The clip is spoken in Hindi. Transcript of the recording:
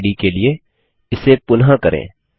मेम्बेरिड के लिए इसे पुनः करें